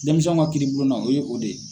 Denmisɛnw ka kiiri bulon na o ye o de ye.